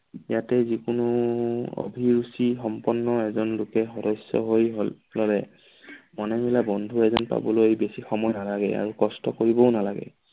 ইয়াতে যিকোনো অভিৰুচি সম্পন্ন এজন লোকে সদস্য হৈ মনে মিলা বন্ধু এজন পাবলৈ বেছি সময় নালাগে আৰু কষ্ট কৰিবও নালাগে।